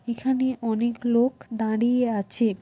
এখানে অনেক লোক দাঁড়িয়ে আছে।